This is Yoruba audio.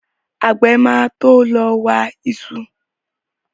Àgbẹ̀ máa to lọ wa iṣu